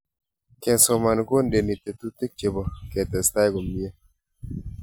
Kesoman kondeni tetutik chebo ketestai komie